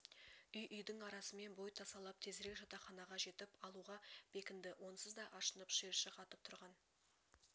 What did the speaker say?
үй-үйдің арасымен бой тасалап тезірек жатақханаға жетіп алуға бекінді онсыз да ашынып шиыршық атып тұрған